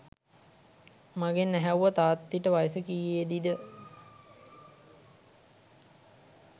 මගෙන් ඇහැව්වා තාත්ති ට වයස කියේදි ද